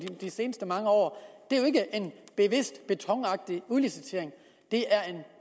de seneste mange år det er jo ikke en bevidst betonagtig udlicitering det er en